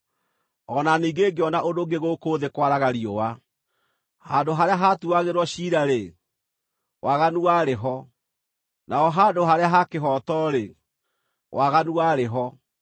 O na ningĩ ngĩona ũndũ ũngĩ gũkũ thĩ kwaraga riũa: Handũ harĩa haatuuagĩrwo ciira-rĩ, waganu warĩ ho, na ho handũ harĩa ha kĩhooto-rĩ, waganu warĩ ho.